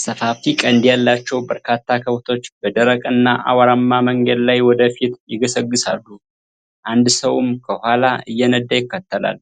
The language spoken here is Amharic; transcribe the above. ሰፋፊ ቀንድ ያላቸው በርካታ ከብቶች በደረቅና አቧራማ መንገድ ላይ ወደ ፊት ይገሰግሳሉ፤ አንድ ሰውም ከኋላ እየነዳ ይከተላል።